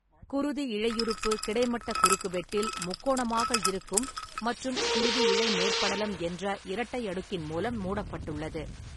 குருதி இழையுறுப்பு கிடைமட்ட குறுக்கு வெட்டில் முக்கோணமாக இருக்கும் மற்றும் குருதி இழை மேற்படலம் என்ற இரட்டை அடுக்கின் மூலம் மூடப்பட்டுள்ளது.